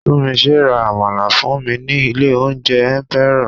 Tunmise ra àmàlà fún mi ní ilé oúnjẹ Emperor.